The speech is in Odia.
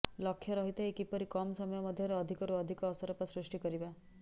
ଲକ୍ଷ୍ୟ ରହିଥାଏ କିପରି କମ୍ ସମୟ ମଧ୍ୟରେ ଅଧିକରୁ ଅଧିକ ଅସରପା ସୃଷ୍ଟି କରିବା